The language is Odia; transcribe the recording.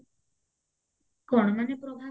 କଣ ମାନେ